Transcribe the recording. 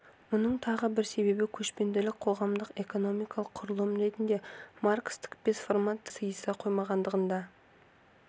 мұның тағы бір себебі көшпенділік қоғамдық-экономикалық құрылым ретінде маркстік бес формациялық үлгіге сыйыса қоймағандығында